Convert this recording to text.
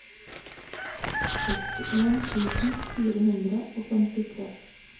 sekstien tusen fire hundre og femtitre